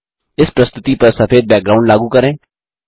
इस प्रस्तुति पर सफेद बैकग्राउंड लागू करें